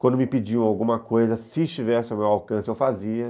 Quando me pediam alguma coisa, se estivesse ao meu alcance, eu fazia.